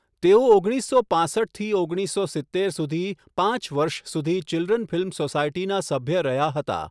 તેઓ ઓગણીસસો પાંસઠથી ઓગણીસો સિત્તેર સુધી પાંચ વર્ષ સુધી ચિલ્ડ્રન ફિલ્મ સોસાયટીના સભ્ય રહ્યા હતા.